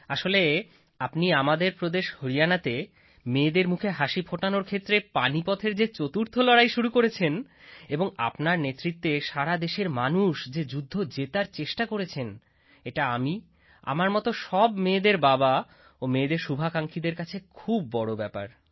আসলে আপনি আমাদের প্রদেশ হরিয়ানাতে মেয়েদের মুখে হাসি ফোটানোর ক্ষেত্রে পানিপথের যে চতুর্থ লড়াই শুরু করেছেন এবং আপনার নেতৃত্বে সারা দেশের মানুষ যে যুদ্ধ জেতার চেষ্টা করেছেন এটা আমি আমার মত সব মেয়েদের বাবা ও মেয়েদের শুভাকাঙ্ক্ষীদের কাছে খুব বড় ব্যাপার